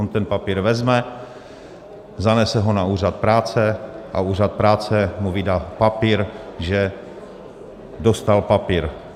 On ten papír vezme, zanese ho na úřad práce a úřad práce mu vydá papír, že dostal papír.